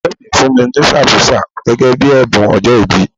Ìfẹ́ mi fún mi ní sàmósà gẹ́gẹ́ bíi ẹ̀bùn ọjọ́ìbí.